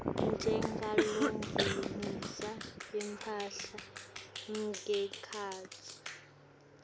njengalongenisa imphahla ngekhatsi